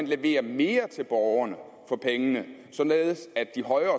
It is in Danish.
levere mere til borgerne for pengene således at de højere